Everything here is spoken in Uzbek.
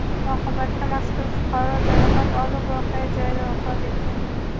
Oqibatda mazkur fuqaro jarohat olib, voqea joyida vafot etgan.